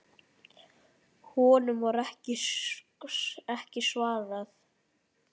Honum var ekki svarað.